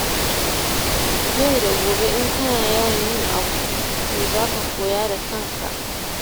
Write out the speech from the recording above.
Yau da gobe in kana yawan yin abu, to za ka koya da kanaka.